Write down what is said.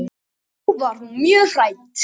Þá var hún mjög hrædd.